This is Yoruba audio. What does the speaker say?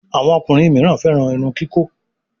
Àwọn ọkùnrin mí féràn Irun kikọ.